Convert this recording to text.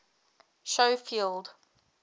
schofield